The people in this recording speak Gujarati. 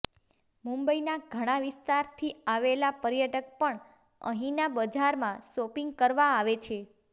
મુંબઈના ઘણા વિસ્તારથી આવેલા પર્યટક પણ અહીના બજારમાં શોપિંગ કરવા આવે છે